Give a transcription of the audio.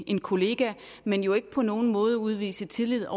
en kollega men jo ikke på nogen måde til at udvise tillid